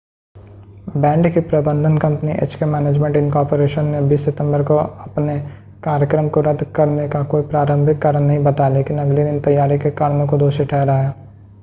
band की प्रबंधन कंपनी एचके मैनेजमेंट इनकॉरपोरेशन ने 20 सितंबर को अपने कार्यक्र्म को रद्द करने का कोई प्रारंभिक कारण नहीं बताया लेकिन अगले दिन तैयारी के कारणों को दोषी ठहराया